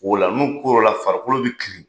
O la n'u la farikolo bi kirin.